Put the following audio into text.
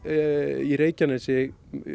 í Reykjanesi